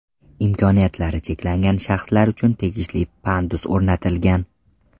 Imkoniyatlari cheklangan shaxslar uchun tegishli pandus o‘rnatilgan.